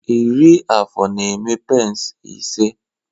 Iri afụ na-eme pence ise